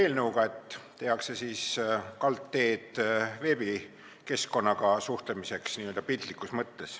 Piltlikus mõttes tehakse kaldteed veebikeskkonnaga suhtlemiseks.